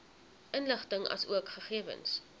inligting asook gegewens